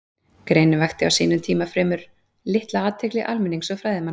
Greinin vakti á sínum tíma fremur litla athygli almennings og fræðimanna.